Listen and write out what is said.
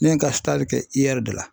Ne ye ŋa kɛ IƐR de la